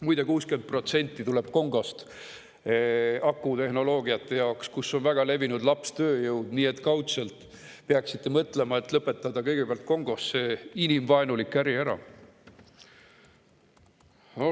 Muide, 60% neist tuleb akutehnoloogiate jaoks Kongost, kus lapstööjõud on väga levinud, nii et kaudselt peaksite mõtlema sellele, et lõpetada kõigepealt Kongos see inimvaenulik äri ära.